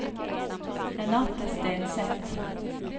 Renate Stenseth